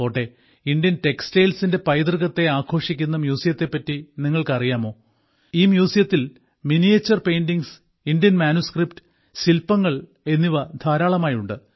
പോട്ടെ ഇന്ത്യൻ ടെക്സ്റ്റൈൽസിന്റെ പൈതൃകത്തെ ആഘോഷിക്കുന്ന മ്യൂസിയത്തെ പറ്റി നിങ്ങൾക്കു അറിയാമോ ഈ മ്യൂസിയത്തിൽ മിനിയേച്ചർ പെയിന്റിംഗ്സ് ഇന്ത്യൻ മാനുസ്ക്രിപ്റ്റ് ശില്പങ്ങൾ എന്നിവ ധാരാളമായുണ്ട്